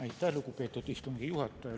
Aitäh, lugupeetud istungi juhataja!